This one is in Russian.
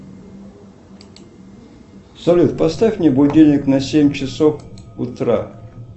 салют поставь мне будильник на семь часов утра